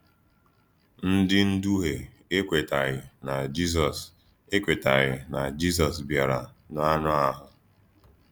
Ndí ndùhìè ekwètàghì na Jízọs ekwètàghì na Jízọs bìrà n’ànụ́ àhụ̀.